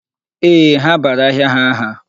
Ee, ha bara ahịa ha aha.